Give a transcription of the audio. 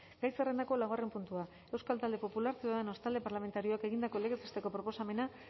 gai zerrendako laugarren puntua euskal talde popularra ciudadanos talde parlamentarioak egindako legez besteko proposamena